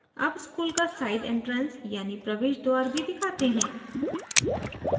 अब school का side entrance यानि प्रवेश द्वार भी दिखाते हैं